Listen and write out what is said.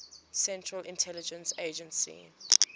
central intelligence agency